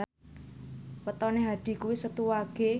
wetone Hadi kuwi Setu Wage